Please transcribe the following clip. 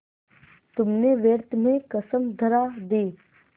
तुमने व्यर्थ में कसम धरा दी